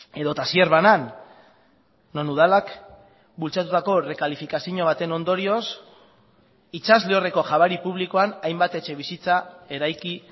edota zierbanan non udalak bultzatutako errekalifikazio baten ondorioz itsas lehorreko jabari publikoan hainbat etxebizitza eraiki